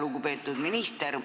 Lugupeetud minister!